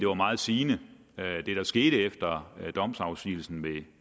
var meget sigende hvad der skete efter domsafsigelsen